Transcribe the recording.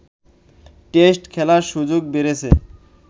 test খেলার সুযোগ বেড়েছে